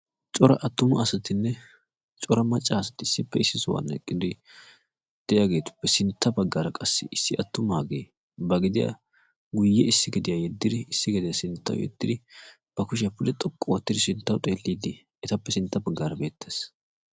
cora attumu asatinne cora maccaa asati issippe issi suhwaann eqqidi de'iyageetuppe sintta baggaara qassi issi attumaagee ba gidiyaa guyye issi gediyaa yeddidi issi gediyaa sinttau yeddidi ba kushiyaa puli xoqqu oottidi sinttau xeelliiddi etappe sintta baggaara beettees.